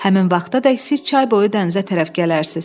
Həmin vaxtadək siz çay boyu dənizə tərəf gələrsiz.